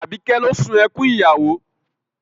Àbíkẹ́ ló sun ẹkún ìyàwó